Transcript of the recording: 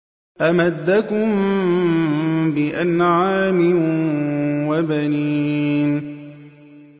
أَمَدَّكُم بِأَنْعَامٍ وَبَنِينَ